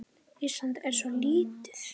Ísland er svo lítið!